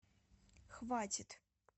хватит